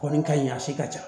Kɔni ka ɲi a si ka ca